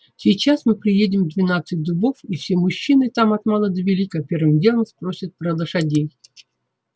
сейчас мы приедем в двенадцать дубов и все мужчины там от мала до велика первым делом спросят про лошадей